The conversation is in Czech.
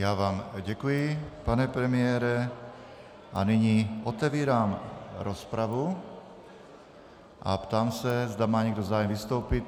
Já vám děkuji, pane premiére, a nyní otevírám rozpravu a ptám se, zda má někdo zájem vystoupit.